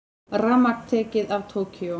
Rafmagn tekið af Tókýó